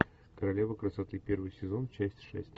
королева красоты первый сезон часть шесть